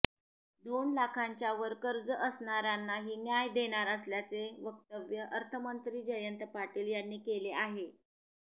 दोन लाखांच्या वर कर्ज असणार्यांनाही न्याय देणार असल्याचे वक्तव्य अर्थमंत्री जयंत पाटील यांनी केले आहे